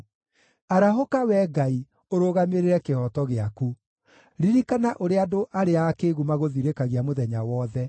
Arahũka, Wee Ngai, ũrũgamĩrĩre kĩhooto gĩaku; ririkana ũrĩa andũ arĩa akĩĩgu magũthirĩkagia mũthenya wothe.